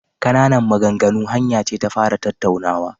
Ƙananan maganganu hanya ce ta fara tattaunawa..